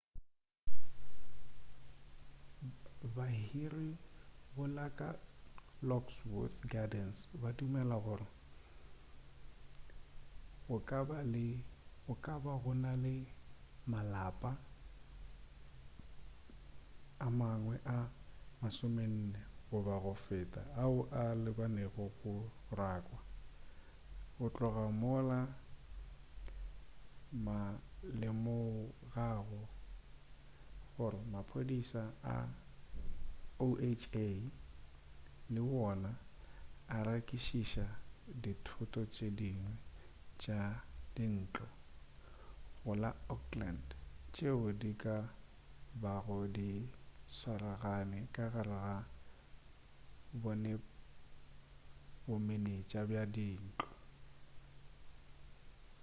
bahiri go la lockwood gardens ba dumela gore go ka ba go na le malapa a mangwe a 40 goba go feta ao a lebanego le go rakwa go tloga mola ma lemogago gore maphodisa a oha le wona a nyakišiša dithoto tše dingwe tša dintlo go la oakland tšeo di ka bago di swaragane ka gare ga bomenetša bja dintlo